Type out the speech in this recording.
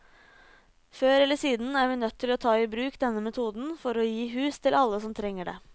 Før eller siden er vi nødt til å ta i bruk denne metoden for å gi hus til alle som trenger det.